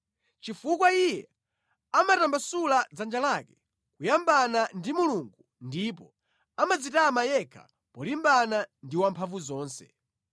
chifukwa iye amatambasula dzanja lake kuyambana ndi Mulungu ndipo amadzitama yekha polimbana ndi Wamphamvuzonse.